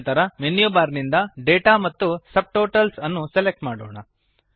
ನಂತರ menu bar ನಿಂದ data ಮತ್ತು ಸಬ್ಟೋಟಲ್ಸ್ ಅನ್ನು ಸೆಲೆಕ್ಟ್ ಮಾಡೋಣ